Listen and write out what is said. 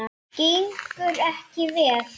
Gengur ekki vel?